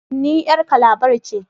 Ni yar Calabar ke